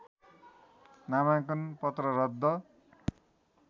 नामाङ्कन पत्र रद्द